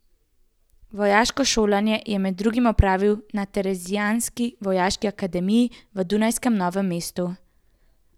Vojaško šolanje je med drugim opravil na Terezijanski vojaški akademiji v Dunajskem Novem mestu.